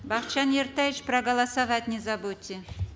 бакытжан ертаевич проголосовать не забудьте